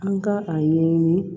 An ka a yeɲini